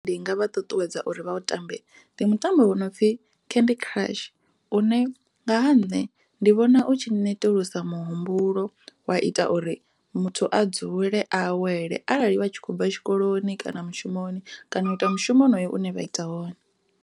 Ndi nga vha ṱuṱuwedza uri vha u tambe ndi mutambo u no pfhi candy crush u ya nga ha nṋe ndi vhona u tshi netulusa muhumbulo wa ita uri muthu a dzule a awele arali vha tshi khou bva tshikoloni vha ita mushumo honoyo une vha ita wone.